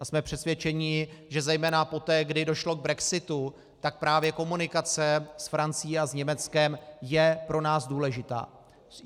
A jsme přesvědčeni, že zejména poté, kdy došlo k brexitu, tak právě komunikace s Francií a s Německem je pro nás důležitá.